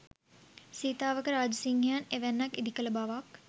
සීතාවක රාජසිංහයන් එවැන්නක් ඉදිකළ බවක්